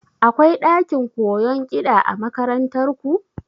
Akwai ɗakin koyon kiɗa a makarantar ku?